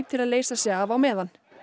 til að leysa sig af á meðan